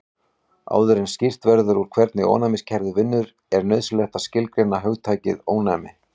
Áður en skýrt verður út hvernig ónæmiskerfið vinnur er nauðsynlegt að skilgreina hugtakið ónæmi.